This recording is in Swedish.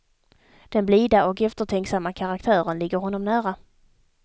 Den blida och eftertanksamma karaktären ligger honom nära.